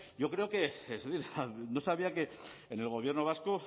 yo creo que es decir no sabía que en el gobierno vasco